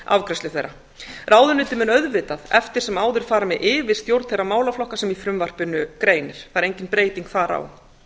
afgreiðslu þeirra ráðuneytið mun auðvitað eftir sem áður fara með yfirstjórn þeirra málaflokka sem í frumvarpinu greinir það er engin breyting þar